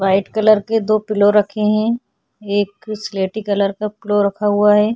White colour के दो pillow रखे है एक स्लेटी कलर का पिलो रखा हुआ है।